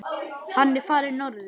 Hann er farinn norður.